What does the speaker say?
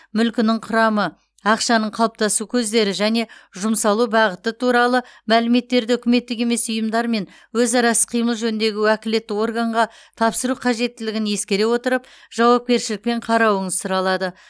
мүлкінің құрамы ақшаның қалыптасу көздері және жұмсалу бағыты туралы мәліметтерді үкіметтік емес ұйымдармен өзара іс қимыл жөніндегі уәкілетті органға тапсыру қажеттілігін ескере отырып жауапкершілікпен қарауыңыз сұралады